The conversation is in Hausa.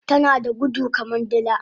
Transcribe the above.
Tanada gudu kaman dila